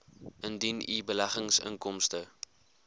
indien u beleggingsinkomste